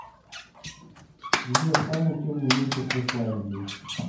сбер самый темный месяц в исландии